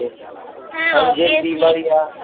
হ্যাঁ Obviously